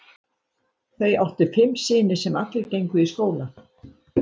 Þau áttu fimm syni sem allir gengu í skóla.